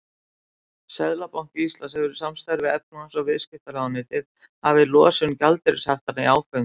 Seðlabanki Íslands hefur í samstarfi við efnahags- og viðskiptaráðuneytið hafið losun gjaldeyrishaftanna í áföngum.